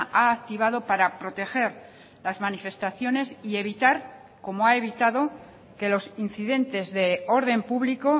ha activado para proteger las manifestaciones y evitar como ha evitado que los incidentes de orden público